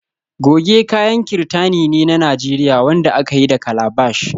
Goje kayan kirtani ne na Najeriya wanda aka yi da calabash